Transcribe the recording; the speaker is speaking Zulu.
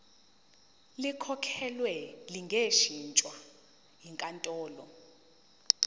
likhokhelwe lingashintshwa yinkantolo